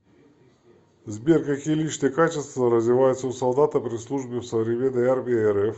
сбер какие личные качества развиваются у солдата при службе в современной армии рф